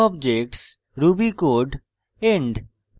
ruby code end